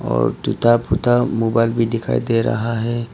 और टूटा फूटा मोबाइल भी दिखाई दे रहा है।